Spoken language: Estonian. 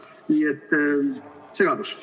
Nii et segadus.